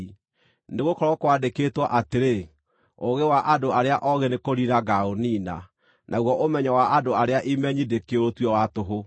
Nĩgũkorwo kwandĩkĩtwo atĩrĩ: “Ũũgĩ wa andũ arĩa oogĩ nĩkũniina ngaaũniina; naguo ũmenyo wa andũ arĩa imenyi ndĩkĩũtue wa tũhũ.”